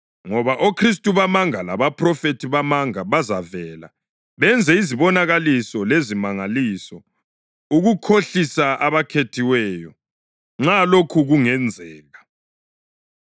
Ngoba oKhristu bamanga labaphrofethi bamanga bazavela benze izibonakaliso lezimangaliso ukukhohlisa abakhethiweyo, nxa lokho kungenzeka.